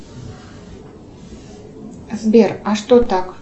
сбер а что так